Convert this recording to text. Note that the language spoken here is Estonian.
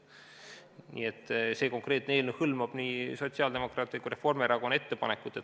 Nii et see konkreetne eelnõu hõlmab nii sotsiaaldemokraatide kui ka Reformierakonna ettepanekut.